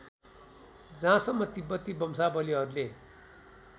जहाँसम्म तिब्बती वंशावलीहरूले